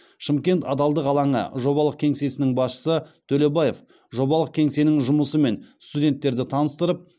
шымкент адалдық алаңы жобалық кеңсесінің басшысы төлебаев жобалық кеңсенің жұмысымен студенттерді таныстырып